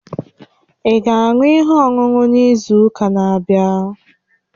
Ị ga-aṅụ ihe ọṅụṅụ n'izu ụka na-abịa?